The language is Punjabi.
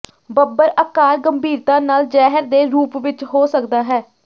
ਬੱਬਰ ਆਕਾਰ ਗੰਭੀਰਤਾ ਨਾਲ ਜ਼ਹਿਰ ਦੇ ਰੂਪ ਵਿੱਚ ਹੋ ਸਕਦਾ ਹੈ